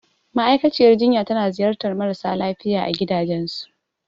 Ma'aikaciyar jinya tana ziyartar marasa lafiya a gidajensu.